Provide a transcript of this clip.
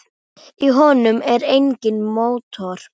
Í honum er enginn mótor.